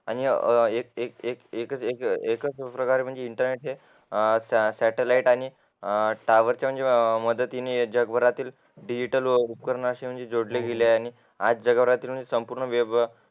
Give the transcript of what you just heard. आणि एकच एक एकच प्रकारे म्हणजे सॅटॅलाइट आणि टॉवरच्या म्हणजे पद्धतीने जगभरातील डिजिटल व उपकरणे असे म्हणजे जोडले गेले आहेत आज जगावर वेब